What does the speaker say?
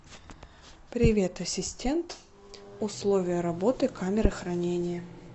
привет ассисент условия работы камеры хранения